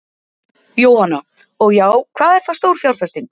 Jóhanna: Og já, hvað er það stór fjárfesting?